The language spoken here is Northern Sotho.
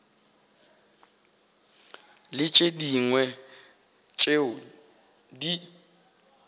le tše dingwe tšeo di